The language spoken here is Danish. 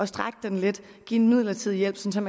strække den lidt give en midlertidig hjælp sådan